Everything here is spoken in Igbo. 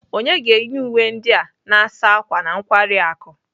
Onye ga-enye uwe ndị a na-asa ákwà na nkwari akụ?